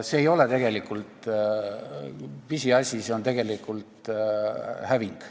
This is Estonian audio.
See ei ole pisiasi, see on tegelikult häving.